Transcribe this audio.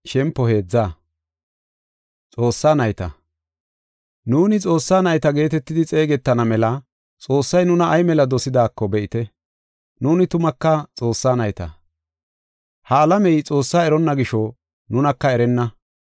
Nuuni Xoossaa nayta geetetidi xeegetana mela Xoossay nuna ay mela dosidaako be7ite. Nuuni tumaka Xoossaa nayta. Ha alamey Xoossaa eronna gisho nunaka erenna.